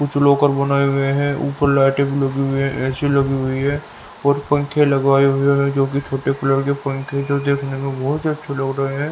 कुछ लोकर बने हुए हैं को ऊपर लाईटे लगी हुई है एसी लगी हुई है और पंखे लगवाए हुए हैं जो की छोटे कूलर के पंख जो देखने में बहोत ही अच्छा लग रहे हैं।